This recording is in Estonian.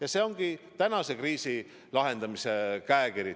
Selline ongi tänase kriisi lahendamise käekiri.